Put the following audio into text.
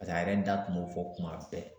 a yɛrɛ da kun b'o fɔ kuma bɛɛ